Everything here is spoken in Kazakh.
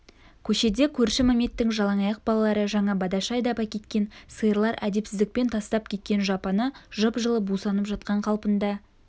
көшеде көрші мәметтің жалаңаяқ балалары жаңа бадашы айдап әкеткен сиырлар әдепсіздікпен тастап кеткен жапаны жып-жылы бусанып жатқан қалпында